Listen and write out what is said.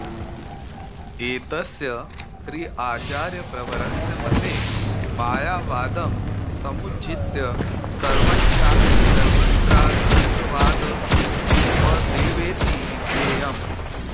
एतस्य श्रीआचार्यप्रवरस्य मते मायावादं समुज्झित्य सर्वञ्चास्ति सर्वत्रा ऽद्वैतवादवदेवेति विज्ञेयम्